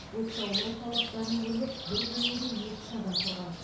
оқшаулау талаптарын бұзып бір бөлмеде екі үш адам тұрған